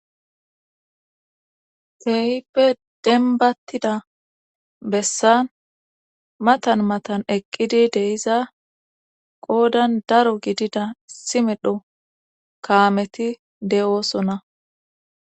Kehippe denbattida bessan matan matan eqqidi deiza qoodan daro gidida simedho kaameti de'oosonna.